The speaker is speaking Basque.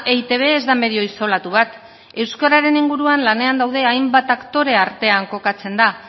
eitb ez da medio isolatu bat euskararen inguruan lanean daude hainbat aktore artean kokatzen da